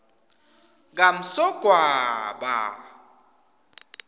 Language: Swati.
kamsogwaba